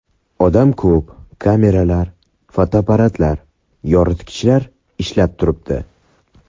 Odam ko‘p, kameralar, fotoapparatlar, yoritgichlar ishlab turibdi.